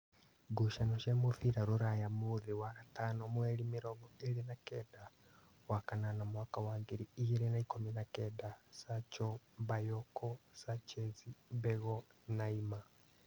Ngucanio cia mũbira Rūraya mũũthĩ wa gatano mweri mĩrongo ĩrĩ na kenda wakanana mwaka wa ngiri igiri na ikũmi na kenda: Sacho, Mbayoko, Sachezi, Mbego, Naima